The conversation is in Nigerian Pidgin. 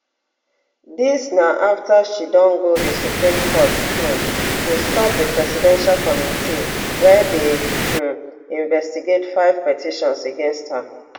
dis na afta she don go di supreme court um to stop di presidential committee wia dey um investigate five petitions against her